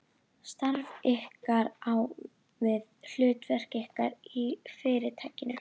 Starf ykkar, á ég við, hlutverk ykkar í Fyrirtækinu.